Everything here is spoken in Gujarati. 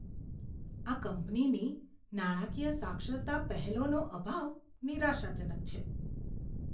આ કંપનીની નાણાકીય સાક્ષરતા પહેલોનો અભાવ નિરાશાજનક છે.